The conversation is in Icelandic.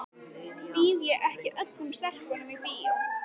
Býð ég ekki öllum stelpum í bíó?